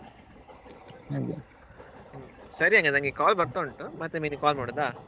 ಸರಿ ಹಾಗಾದ್ರೆ ನನ್ಗೆ call ಬರ್ತಾ ಉಂಟು ಮತ್ತೆ ಮಿನಿ call ಮಾಡುದಾ?